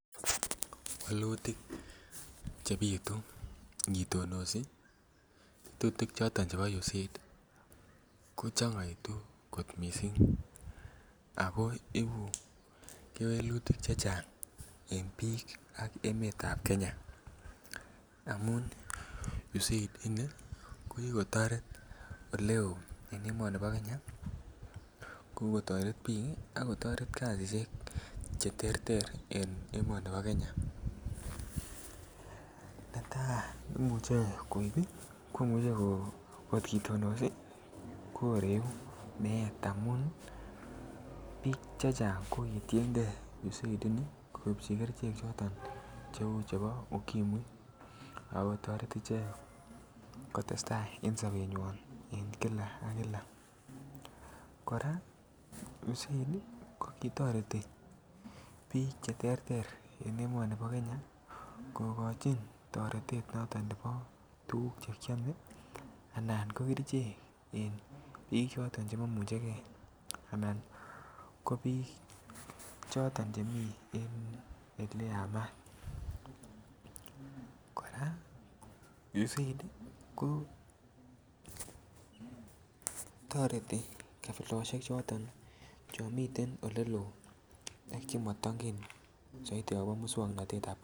Wolutik Che bitu angitonosi boisiet noton nebo USAID ko changaitu ako ibu kewelutik Che Chang en bik ak en emetab Kenya amun USAID ko ki kotoret Oleo en emoni bo Kenya kou kotoret bik ak kasisyek en emoni bo Kenya netai kot kitonosi ko Reu meet amun bik chechang ko kitienge USAID ini koibchi kerichek Cheu chebo ukimwi ak kotoret ichek kotestai en sobenywa en kila ak kila kora USAID ko kitoreti bik Oleo en emoni bo Kenya kogochin toretet noton nebo tuguk Che kiame anan ko kerichek en bik Che momuche ge anan ko bik choton chemi Ole Yamat kora USAID kotoreti kabilosiek choton chon miten oleloo ak mongen soiti agobo moswoknatet ab kasari